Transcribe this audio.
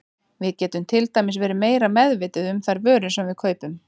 Við getum til dæmis verið meira meðvituð um þær vörur sem við kaupum.